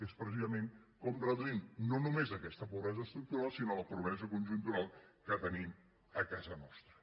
és precisament com reduïm no només aquesta pobresa estructural sinó la pobresa conjuntural que tenim a casa nostra